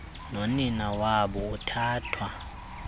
nonina wabo uthathwa